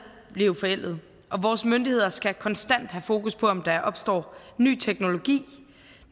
blive forældede og vores myndigheder skal konstant have fokus på om der opstår ny teknologi